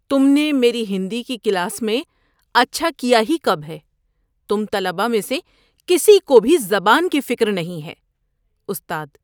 تم نے میری ہندی کلاس میں اچھا کیا ہی کب ہے؟ تم طلبہ میں سے کسی کو بھی زبان کی فکر نہیں ہے۔ (استاد)